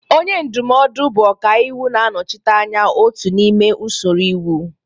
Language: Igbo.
Onye ndụmọdụ bụ ọkàiwu na-anọchite anya otu n'ime usoro iwu.